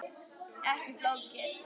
Ekki flókið.